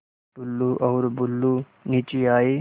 टुल्लु और बुल्लु नीचे आए